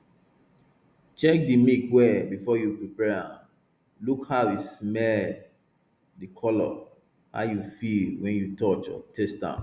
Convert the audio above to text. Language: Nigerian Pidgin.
check di milk well before you prepare am look how e smell di color how e feel wen you touch or taste am